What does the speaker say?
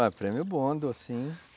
Ué, prêmio bom, docinho.